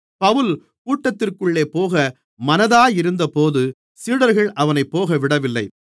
பவுல் கூட்டத்திற்குள்ளே போக மனதாயிருந்தபோது சீடர்கள் அவனைப் போகவிடவில்லை